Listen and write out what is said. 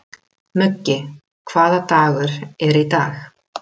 Muggi, hvaða dagur er í dag?